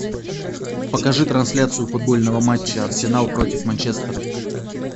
покажи трансляцию футбольного матча арсенал против манчестера